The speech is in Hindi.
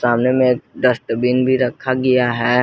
सामने में एक डस्टबिन भी रखा गया है।